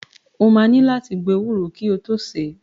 O máa ní láti gbo ewúro kí o tó sè é.